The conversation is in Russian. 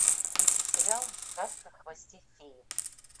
включи сериал сказка о хвосте феи